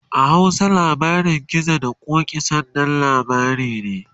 a Hausa labarin gizo da ƙoki, sananan labari ne